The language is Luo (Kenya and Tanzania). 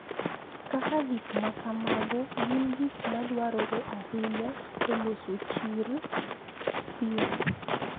Kaka gik ma kamago gin gik ma dwarore ahinya e loso chir, thieth,